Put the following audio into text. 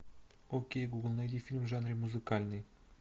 окей гугл найди фильм в жанре музыкальный